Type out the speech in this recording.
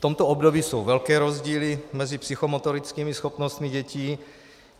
V tomto období jsou velké rozdíly mezi psychomotorickými schopnostmi dětí.